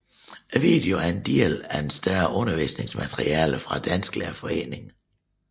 Videoen er en del af et større undervisningsmateriale fra Dansklærerforeningen